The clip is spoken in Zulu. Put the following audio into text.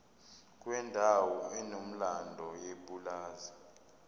kwendawo enomlando yepulazi